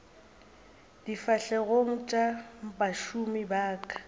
difahlegong tša bašomi ba ka